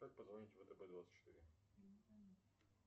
как позвонить втб двадцать четыре